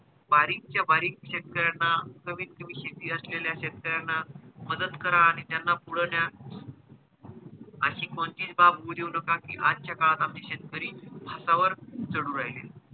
बारीक चा बारीक शेतकऱ्यांना कमीत कमी शेती असलेल्या शेतकऱ्यांना मदत करा आणि त्यांना पुढे न्या अशी कोणतीच बाब होऊ देऊ नका कि आजचा काळात आम्ही शेतकरी फासा वर चढू राहिले.